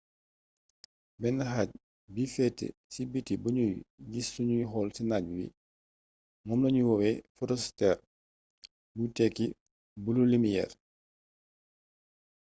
benn xaaj bi feete si biti buñuy gis sunuy xool ci naaj wi moom lañuy woowee fotosfeer buy tekki bulu limiyeer